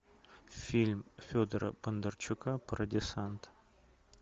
фильм федора бондарчука про десант